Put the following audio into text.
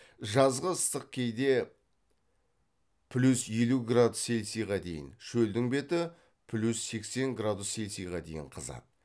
жазғы ыстық кейде плюс елу градус цельсийға дейін шөлдің беті плюс сексен градус цельсийға дейін қызады